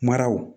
Maraw